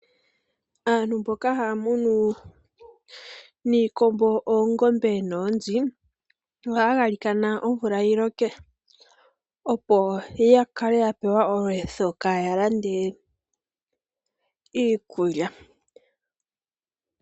Aantu mboka haya munu iikombo, oongombe noonzi ohaya galikana omvula yiloke opo ya kale ya pewa olweetho kaaya lande iikulya.